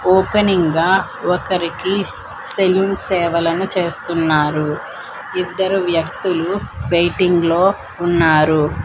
Opening గా ఒకరికి salon సేవలను చేస్తున్నారు ఇద్దరు వ్యక్తులు వెయిటింగ్ లో ఉన్నారు.